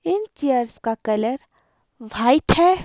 इन chairs का colour white है।